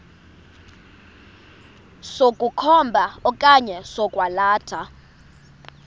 sokukhomba okanye sokwalatha